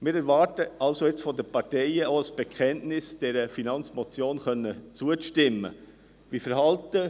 Wir erwarten jetzt von den Parteien auch ein Bekenntnis, dieser Finanzmotion () zustimmen zu können.